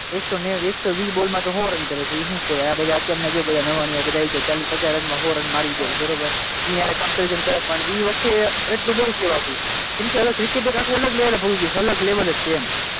એકસો એકસો વીસ બોલમાં તો સો રન કરે છે એ શું કહેવાય? આ બધા અત્યારના જુઓ બધા નવાણિયા ચાલીસ પચાસ બોલમાં સો રન મારી દે બરાબર, એની સાથે કંપેરીશન કરે પણ એ વખતે એટલુ તો બહુ કહેવાતું, કેમકે હવે ક્રિકેટ એક આખું અલગ લેવલે પહોચી ગયું, અલગ લેવલે જ એમ,